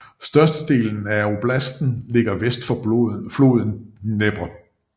Størstedelen af oblasten ligger vest for floden Dnepr